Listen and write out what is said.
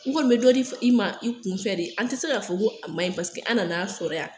U kɔni be dɔ de f'i ma i kunfɛ de an te se y'a fɔ ko a maɲi paseke an nan'a sɔrɔ yan